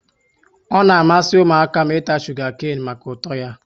Ọ na amasị ụmụaka m ịta shuga kane maka ụtọ ya